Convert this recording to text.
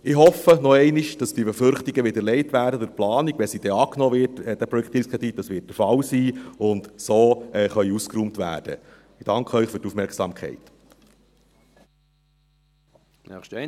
Ich hoffe noch einmal, dass diese Befürchtungen widerlegt werden in der Planung, wenn sie denn angenommen wird, der Projektierungskredit, das wird der Fall sein, und so ausgeräumt werden können.